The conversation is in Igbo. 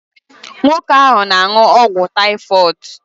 Nwoke ahụ na-aṅụ ọgwụ taifọdu